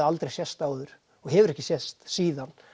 aldrei sést áður og hefur ekki sést síðan